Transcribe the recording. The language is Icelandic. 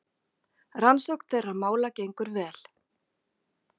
Rannsókn þeirra mála gengur vel.